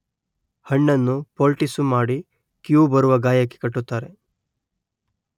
ಹಣ್ಣನ್ನು ಪೋಲ್ಟೀಸುಮಾಡಿ ಕೀವು ಬರುವ ಗಾಯಕ್ಕೆ ಕಟ್ಟುತ್ತಾರೆ